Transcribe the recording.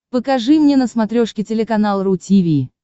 покажи мне на смотрешке телеканал ру ти ви